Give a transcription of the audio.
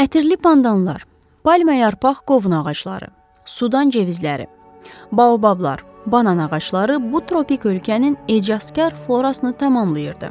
Ətirli pandanlar, palma yarpaq qovun ağacları, sudan cevizləri, baobablar, banan ağacları bu tropik ölkənin ecazkar florasını tamamlayırdı.